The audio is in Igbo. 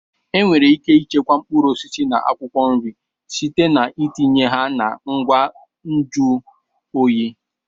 Enwere ike ichekwa mkpụrụ osisi na akwụkwọ nri site na itinye ha na ngwa nju oyi.